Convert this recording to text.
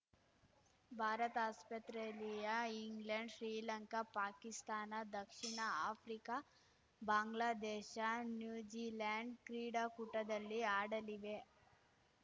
ಭಾರತ ಆಸ್ಪತ್ರೆಯಲ್ಲಿಯಾ ಇಂಗ್ಲೆಂಡ್‌ ಶ್ರೀಲಂಕಾ ಪಾಕಿಸ್ತಾನ ದಕ್ಷಿಣ Africa Bangladesh New Zealand ಕ್ರೀಡಾಕೂಟದಲ್ಲಿ ಆಡಲಿವೆ